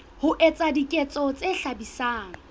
ho etsa diketso tse hlabisang